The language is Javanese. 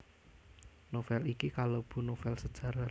Novel iki kalebu novel sejarah